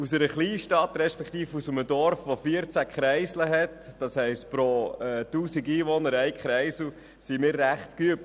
In einer Kleinstadt respektive einem Dorf, das 14 Kreisel hat – pro 1000 Einwohner einen Kreisel – sind wir in Langenthal recht geübt.